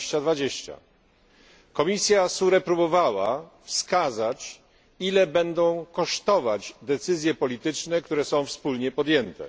2020. Komisja SURE próbowała wskazać, ile będą kosztować decyzje polityczne, które są wspólnie podjęte.